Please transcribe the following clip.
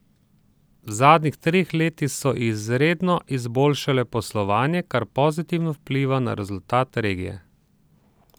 V zadnjih treh letih so izredno izboljšale poslovanje, kar pozitivno vpliva na rezultat regije.